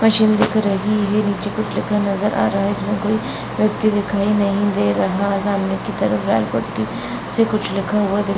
machine दिख रही है | निचे कुछ लिखा नजर आ रहा है | इसमें कोई व्यक्ति दिखाई नहीं दे रहा है | सामने की तरफ लाल पट्टी से कुछ लिखा हुआ दिख --